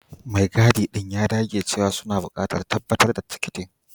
Mai gadi ɗin ya dage cewa suna buƙatar tabbatar da tikitin.